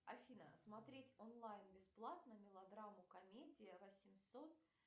афина смотреть онлайн бесплатно мелодраму комедия восемьсот